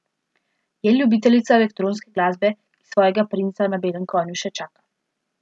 Je ljubiteljica elektronske glasbe, ki svojega princa na belem konju še čaka.